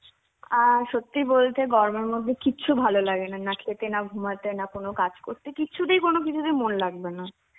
অ্যাঁ সত্যি বলতে গরমের মধ্যে কিছু ভালো লাগে না না খেতে না ঘুমাতে না কোনো কাজ করতে কিছুতেই কোনো কিছুতেই মন লাগবে না.